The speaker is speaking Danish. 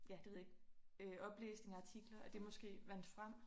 Ja det ved jeg ikke oplæsning af artikler at det måske vandt frem